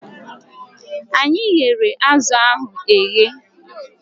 Anyị ghere azụ ahụ eghe